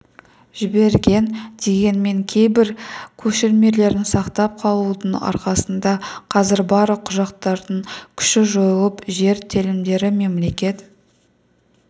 жіберген дегенмен кейбір көшірмелерін сақтап қалудың арқасында қазір барлық құжаттардың күші жойылып жер телімдері мемлекет